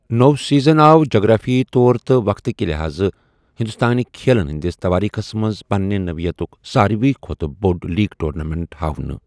نوٚو سیٖزن آو جغرافیٲیی طور تہٕ وقتہٕ کہِ لحاظہٕ ہندوستٲنہِ کھیلن ہٕندِس تواریخس منٛز پنٛنہِ نٔوعیتُک سارِوٕیہ کھۄتہٕ بوٚڑ لیٖگ ٹورنامٮ۪نٹ ہاونہٕ ۔